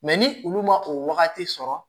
Mɛ ni olu ma o wagati sɔrɔ